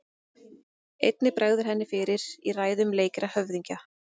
Einnig bregður henni fyrir í ræðum leikra höfðingja.